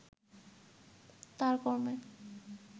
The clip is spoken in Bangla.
তার কর্মে